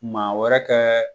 Maa wɛrɛ kɛ